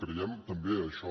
creiem també això